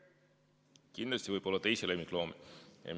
Kindlasti võib seal olla teisi lemmikloomi.